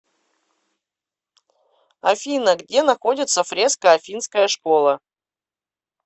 афина где находится фреска афинская школа